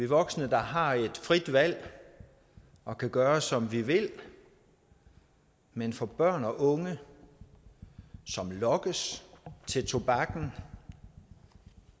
voksne der har et frit valg og kan gøre som vi vil men for børn og unge som lokkes til tobakken